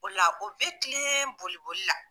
O de la o be kilen boli boli la.